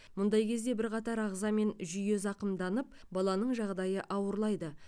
мұндай кезде бірқатар ағза мен жүйе зақымданып баланың жағдайы ауырлайды